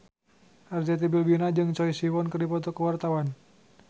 Arzetti Bilbina jeung Choi Siwon keur dipoto ku wartawan